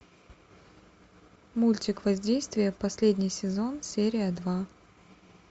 мультик воздействие последний сезон серия два